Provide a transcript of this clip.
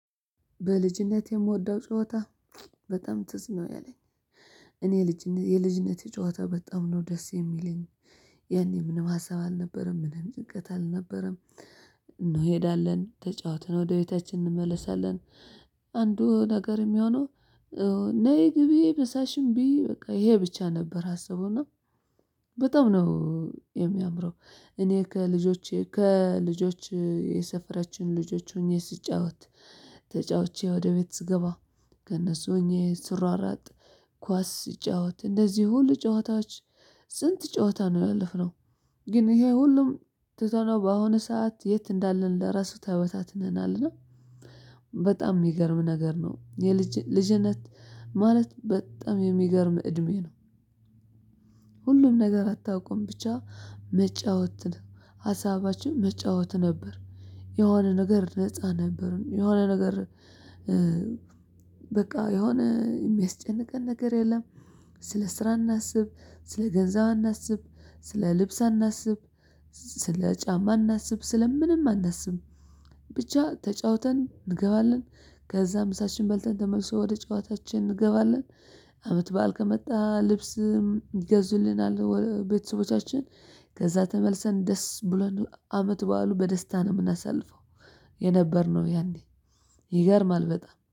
በልጅነቴ የምወደው ጨዋታ በጣም ትዝ ነው ያለኝ። እኔ ልጅነ የልጅነት ጨዋታ በጣም ነው ደስ የሚለኝ። ያኔ ምንም ሀሳብ አልነበረም ምንም ጭንቀት አልነበረም። እንሄዳለን ተጫውትን ወደ ቤታችን እንመለሳለን። አንዱ ነገር የሚሆነው። ነይ ግቢ ምሳሽን ብይ በቃ ይሄ ብቻ ነበር ሀሳቡ እና። በጣም ነው የሚያምረው። እኔ ከልጆቼ ከልጆች የሰፈራችን ልጆች ሆኜ ስጫወት። ተጫውቼ ወደ ቤት ስገባ ከእነሱ ሆኜ ስሯሯጥ ኳስ ስጫወት እነዚህ ሁሉ ጨዋታዎች። ስንት ጨዋታ ነው ያለፍነው። ግን ይሄ ሁሉም ትተነው በአሁኑ ሰዓት የት እንዳለ ለራሱ ተበታትነናልና። በጣም የሚገርም ነገር ነው የልጅ ልጅነት ማለት በጣም የሚገርም እድሜ ነው። ሁሉን ነገር አታውቁም ብቻ መጫወት ነው ሀሳባችን መጫወት ነበር። የሆነ ነገር ነፃ ነበርን የሆነ ነገር። በቃ የሆነ የሚያስጨንቀን ነገር የለም። ስለ ስራ አናስብ ስለ ገንዘብ አናስብ ስለ ልብስ አናስብ። ስለ ጫማ አናስብ ስለ ምንም አናስብም። ብቻ ተጫውተን እንገባለን። ከዛም ምሳችንን በልተን ተመልሶ ወደ ጨዋታችን እንገባለን። አመት በዓል ከመጣ ልብስም ይገዙልናል ቤተሰቦቻችን። ከዛ ተመልሰን ደስ ብሎን አመት በዓሉን በደስታ ነው የምናሳልፈው። የነበርነው ያኔ። ይገርማል በጣም